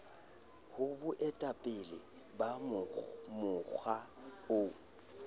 ho boetapele ba mokga o